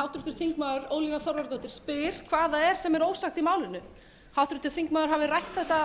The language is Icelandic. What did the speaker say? háttvirtur þingmaður ólína þorvarðardóttir spyr hvað það er sem er ósagt í málinu háttvirtur þingmaður hafði rætt þetta fram